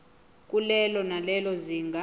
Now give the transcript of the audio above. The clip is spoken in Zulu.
kulelo nalelo zinga